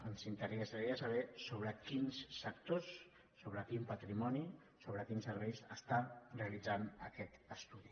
ens interessaria saber sobre quins sectors sobre quin patrimoni sobre quins serveis realitza aquest estudi